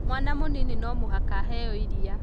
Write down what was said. Mwana mũnini no mũhaka aheo iria